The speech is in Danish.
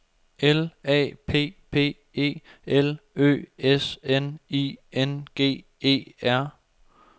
L A P P E L Ø S N I N G E R